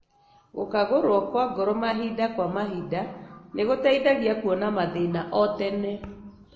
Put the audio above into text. Gũkagũrũo kwa ngoro mahinda kwa mahinda nĩgũteithagia kuona mathĩna o tene.